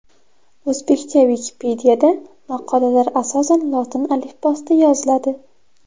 O‘zbekcha Wikipedia’da maqolalar asosan lotin alifbosida yoziladi.